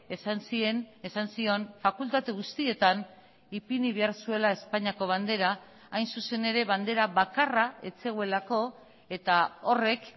esan zien esan zion fakultate guztietan ipini behar zuela espainiako bandera hain zuzen ere bandera bakarra ez zegoelako eta horrek